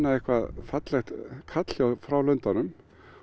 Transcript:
eitthvert fallegt kall frá lundanum og